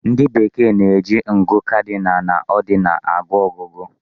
Ndị Bekee na-eji ngụ cardinal na ordinal agụ ọgụgụ.